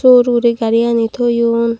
sey hurey hurey gariyani toyon.